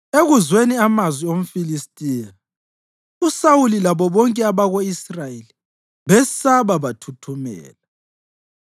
Ekuzweni amazwi omFilistiya, uSawuli labo bonke abako-Israyeli besaba bathuthumela.